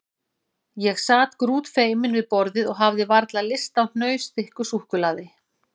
Ég sat grútfeiminn við borðið og hafði varla lyst á hnausþykku súkkulaði.